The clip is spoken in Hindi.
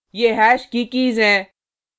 ये हैश की कीज़ हैं